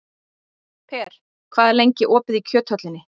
Per, hvað er lengi opið í Kjöthöllinni?